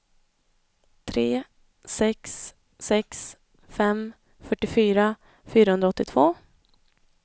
tre sex sex fem fyrtiofyra fyrahundraåttiotvå